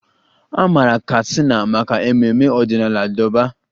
A maara Katsina maka ememme ọdịnala Durbar